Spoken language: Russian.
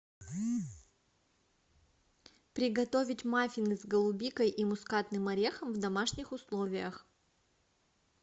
приготовить маффины с голубикой и мускатным орехом в домашних условиях